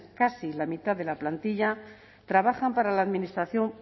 casi la mitad de la plantilla trabajan para la administración